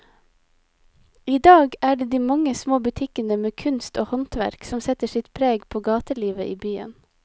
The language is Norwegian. I dag er det de mange små butikkene med kunst og håndverk som setter sitt preg på gatelivet i byen.